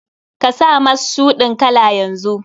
Ka sa mas shuɗin kala yanzu!